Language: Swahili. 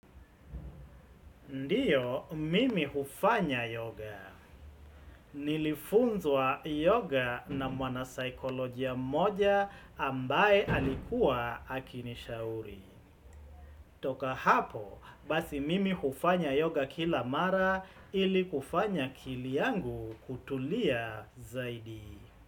Ndiyo, mimi hufanya yoga. Nilifunzwa yoga na mwana saikolojia mmoja ambaye alikuwa akinishauri. Toka hapo, basi mimi hufanya yoga kila mara ili kufanya akili yangu kutulia zaidi.